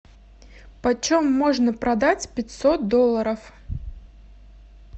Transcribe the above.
почем можно продать пятьсот долларов